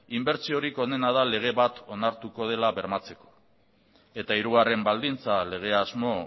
inbertsiorik onena da lege bat onartuko dela bermatzeko eta hirugarren baldintza legeasmo